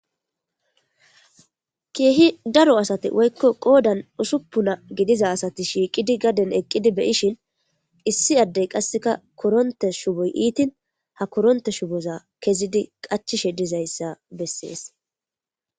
Kehi daro asati woyiko qodan usupuna gidiza asati shiqidi be,ishin issi ade qasika koronte shuboyi ithin ha koronte shuboza kesidi qachishe dizayisa beses